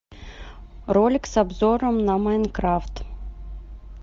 ролик с обзором на майнкрафт